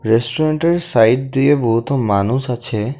রেস্টুরেন্টের সাইড দিয়ে বহুতো মানুষ আছে।